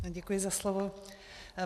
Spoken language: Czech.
Děkuji za slovo.